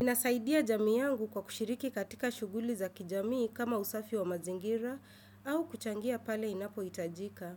Inasaidia jamii yangu kwa kushiriki katika shughuli za kijamii kama usafi wa mazingira au kuchangia pale inapohitajika.